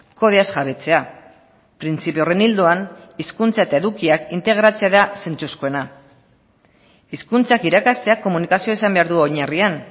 kodeaz jabetzea printzipio horren ildoan hizkuntza eta edukiak integratze da zentzuzkoena hizkuntzak irakasteak komunikazioa izan behar du oinarrian